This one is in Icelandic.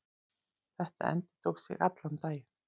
Þetta endurtók sig allan daginn.